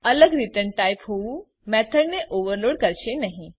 અલગ return type હોવું મેથડને ઓવરલોડ કરશે નહી